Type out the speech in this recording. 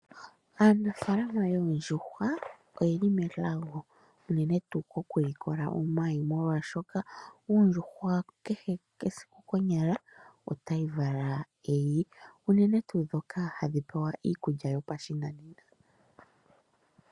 Aanafaalama yoondjuhwa oye li melago. Unene tuu okulikola omayi molwaashoka ondjuhwa kehe esiku konyala otayi vala eyi. Unene tuu ndhoka hadhi pewa iikulya yopashinanena.